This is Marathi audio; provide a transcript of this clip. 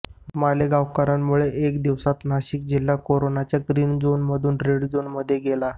मालेगावकरांमुळे एका दिवसात नाशिक जिल्हा कोरोनाच्या ग्रीन झोनमधून रेड झोनमध्ये गेला